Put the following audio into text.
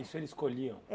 Isso eles colhiam?